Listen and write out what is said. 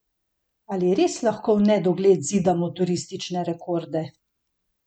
Ali res lahko v nedogled zidamo turistične rekorde?